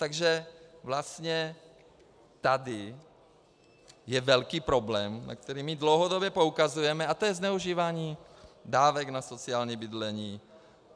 Takže vlastně tady je velký problém, na který my dlouhodobě poukazujeme, a to je zneužívání dávek na sociální bydlení.